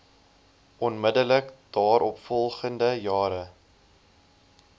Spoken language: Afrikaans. onmiddellik daaropvolgende jare